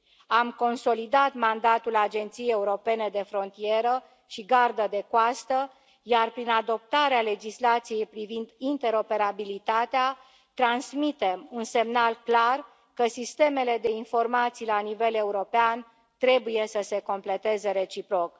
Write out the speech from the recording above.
Am consolidat mandatul Agenției Europene de Frontieră și Garda de Coastă, iar prin adoptarea legislației privind interoperabilitatea, transmitem un semnal clar că sistemele de informații la nivel european trebuie să se completeze reciproc.